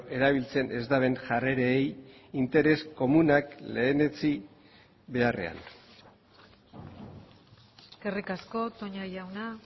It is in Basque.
erabiltzen ez duten jarrerei interes komunak lehenetsi beharrean eskerrik asko toña jauna